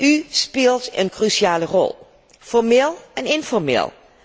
U speelt een cruciale rol, formeel en informeel.